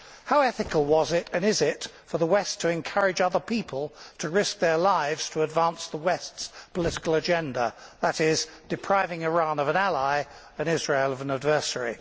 How ethical was it, and is it, for the West to encourage other people to risk their lives to advance the West's political agenda that is, depriving Iran of an ally and Israel of an adversary?